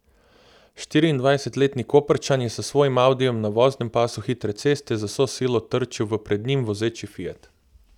Štiriindvajsetletni Koprčan je s svojim audijem na voznem pasu hitre ceste z vso silo trčil v pred njim vozeči fiat.